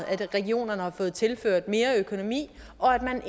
at regionerne har fået tilført mere økonomi og at man